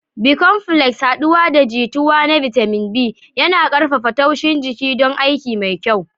Bicomplex, haɗuwa da jituwa na bitamin B, yana ƙarfafa tushen jiki don aiki mafi kyau.